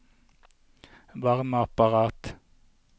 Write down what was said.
varmeapparat